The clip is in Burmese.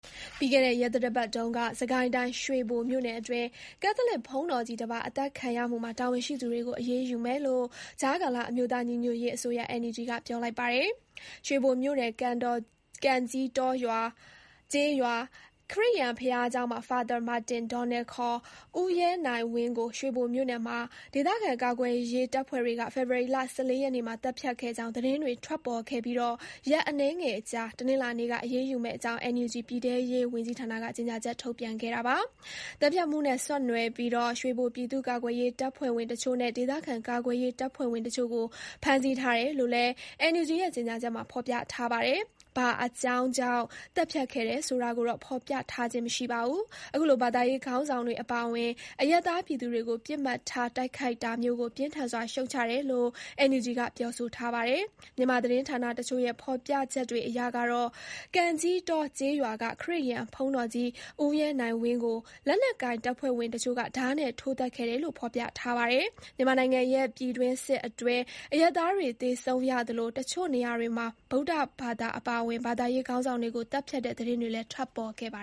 ပြီးခဲ့တဲ့ရက်သတ္တပတ်ထဲ စစ်ကိုင်းတိုင်း ရွှေဘိုမြို့နယ်အတွင်း ကက်သလစ်ဘုန်းတော်ကြီးတပါး အသတ်ခံရမှုမှာ တာဝန်ရှိသူတွေကိုအရေးယူမယ်လို့ ကြားကာလ အမျိုးသားညီညွတ်ရေးအစိုးရ (NUG) ကပြောလိုက်ပါတယ်။ ရွှေဘိုမြို့နယ် ကန်ကြီးတောကျေးရွာ ခရစ်ယာန်ဘုရားကျောင်းက Fr. Donald Martin ရွှေဘိုမြို့နယ်မှာ ဒေသခံ ကာကွယ်ရေးတပ်ဖွဲ့တွေက ဖေဖော်ဝါရီလ (၁၄) ရက်နေ့မှာ သတ်ဖြတ်ခဲ့ကြောင်း သတင်းတွေ ထွက်ပေါ်ခဲ့ပြီး ရက်အနည်းငယ်အကြာ တနင်္လာနေ့က အရေးယူမယ့်အကြောင့် NUG ပြည်ထဲရေး ဝန်ကြီးဌာနက ကြေညာချက် ထုတ်ပြန်ခဲ့တာပါ။ သတ်ဖြတ်မှုနဲ့ ဆက်နွယ်ပြီး ရွှေဘို ပြည်သူ့ ကာကွယ်ရေးတပ်ဖွဲ့ဝင်တချို့နဲ့ ဒေသခံကာကွယ်ရေးတပ်ဖွဲ့ဝင်တချို့ကို ဖမ်းဆီးထားတယ်လို့လည်း NUG ရဲ့ကြေညာချက်မှာဖေါ်ပြထားပါတယ်။ ဘာအကြောင်းကြောင့် သတ်ဖြတ်ခဲ့တယ်ဆိုတာ ကိုတော့ဖေါ်ပြထားခြင်းမရှိပါဘူး။ အခုလို ဘာသာရေးခေါင်းဆောင်တွေအပါအဝင် အရပ်သားပြည်သူတွေကို ပစ်မှတ်ထားတိုက်ခိုက် တာမျိုးကို ပြင်းထန်စွာ ရှုတ်ချတယ်လို့ NUG ကပြောထားပါတယ်။ မြန်မာသတင်းဌာနတချို့ရဲ့ ဖေါ်ပြချက်တွေအရ ကန်ကြီးတောကျေးရွာက ခရစ်ယာန်ဘုန်းတော်ကြီး ဦးရဲနိုင်ဝင်းကို လက်နက်ကိုင် တပ်ဖွဲ့ဝင်တချို့က ဓားနဲ့ထိုးသတ်ခဲ့တယ်လို့ဖေါ်ပြထားပါတယ်။ မြန်မာနိုင်ငံရဲ့ ပြည်တွင်းစစ်အတွင်း အရပ်သားတွေသေဆုံးရသလို အချို့နေရာတွေမှာ ဗုဒ္ဓဘာသာ အပါအဝင် ဘာသာရေး ခေါင်းဆောင်တွေကို သတ်ဖြတ်တဲ့သတင်းတွေလည်းထွက်ပေါ်ခဲ့ပါ